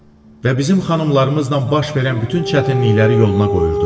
Və bizim xanımlarımızla baş verən bütün çətinlikləri yoluna qoyurdu.